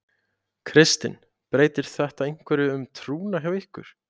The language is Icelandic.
Kristinn: Breytir þetta einhverju um trúna hjá ykkur?